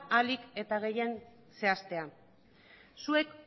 ahalik eta gehien zehazten zuek